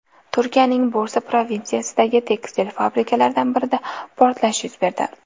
Turkiyaning Bursa provinsiyasidagi tekstil fabrikalaridan birida portlash yuz berdi.